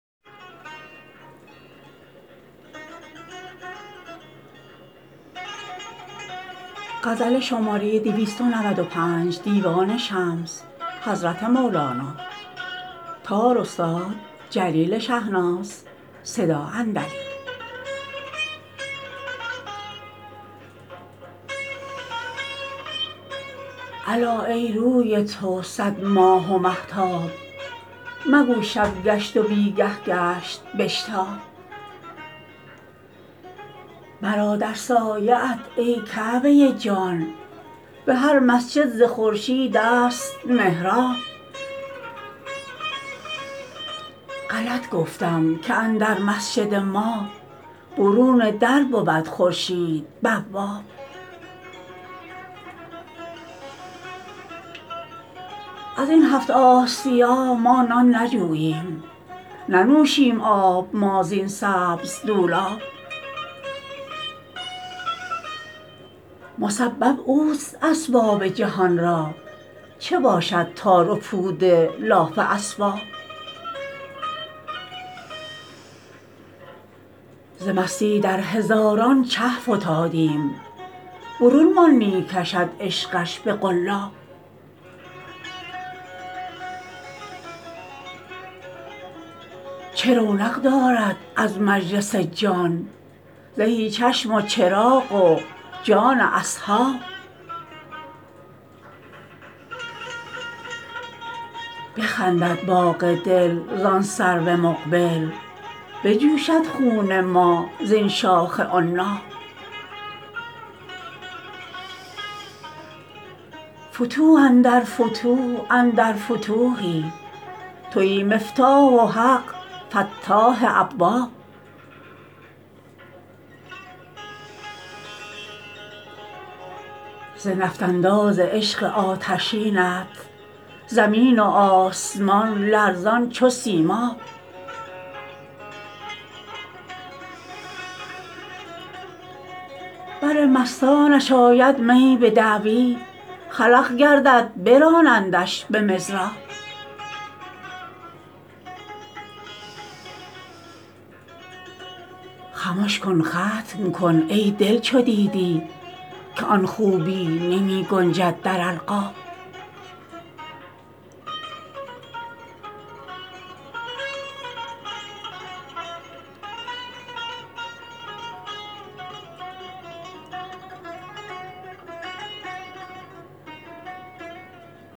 الا ای روی تو صد ماه و مهتاب مگو شب گشت و بی گه گشت بشتاب مرا در سایه ات ای کعبه جان به هر مسجد ز خورشیدست محراب غلط گفتم که اندر مسجد ما برون در بود خورشید بواب از این هفت آسیا ما نان نجوییم ننوشیم آب ما زین سبز دولاب مسبب اوست اسباب جهان را چه باشد تار و پود لاف اسباب ز مستی در هزاران چه فتادیم برون مان می کشد عشقش به قلاب چه رونق دارد از تو مجلس جان زهی چشم و چراغ جان اصحاب بخندد باغ دل زان سرو مقبل بجوشد خون ما زین شاخ عناب فتوح اندر فتوح اندر فتوحی توی مفتاح و حق مفتاح ابواب ز نفط انداز عشق آتشینت زمین و آسمان لرزان چو سیماب بر مستانش آید می به دعوی خلق گردد برانندش به مضراب خمش کن ختم کن ای دل چو دیدی که آن خوبی نمی گنجد در القاب